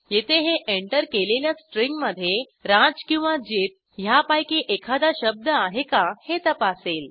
येथे हे एंटर केलेल्या स्ट्रिंग मधे राज किंवा जित ह्यापैकी एखादा शब्द आहे का हे तपासेल